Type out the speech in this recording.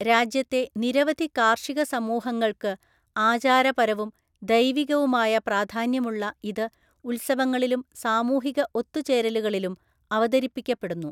രാജ്യത്തെ നിരവധി കാർഷിക സമൂഹങ്ങൾക്ക് ആചാരപരവും ദൈവികവുമായ പ്രാധാന്യമുള്ള ഇത് ഉത്സവങ്ങളിലും സാമൂഹിക ഒത്തുചേരലുകളിലും അവതരിപ്പിക്കപ്പെടുന്നു.